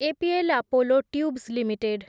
APL Apollo tubes limited